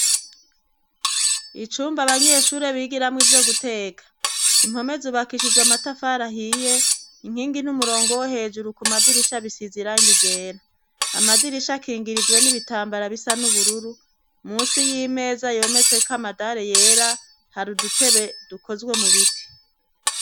Icumba abanyeshure bigiramwo ivyo guteka, impome zubakishijwe amatafari ahiye, inkingi n'umurongo wo hejuru ku madirisha bisize irangi rera. Amadirisha akingirijwe n'ibitambara bisa n'ubururu, munsi y'imeza yometseko amadare yera, hari udutebe dukozwe mu biti.